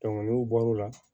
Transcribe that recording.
n'u bɔr'o la